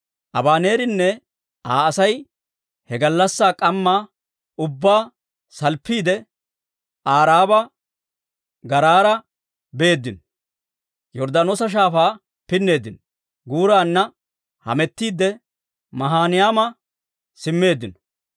Abaneerinne Aa Asay he gallassaa k'ammaa ubbaa salppiidde Aaraba garaara beeddino; Yorddaanoosa Shaafaa pinneeddino. Guurana hametiidde Maahinayma simmeeddino.